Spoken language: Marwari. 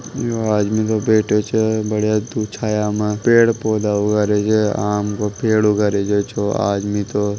इयो आदमी तो बैठियो छे बढ़िया धुप-छाया मा पेड़ पौधे उगा रहियो छेआम के पेड़ उगा रहियो ओ आदमी छे।